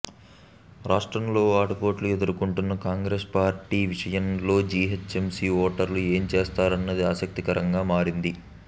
రాష్ట్రంలో ఆటుపోట్లు ఎదుర్కొంటున్న కాంగ్రెస్ పార్టీ విషయం లో జీహెచ్ఎంసీ ఓటర్లు ఏం చేశారన్నది ఆసక్తికరంగా మారింది